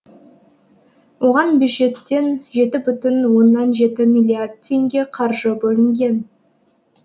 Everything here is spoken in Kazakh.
оған бюджеттен жеті бүтін оннан жеті миллиард теңге қаржы бөлінген